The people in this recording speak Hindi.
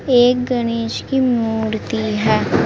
एक गणेश की मूर्ति है।